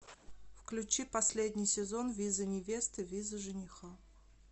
включи последний сезон виза невесты виза жениха